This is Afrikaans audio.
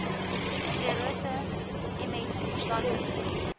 sklerose ms verstandelike